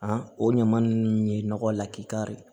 o ɲama ninnu ye nɔgɔ lakikari ye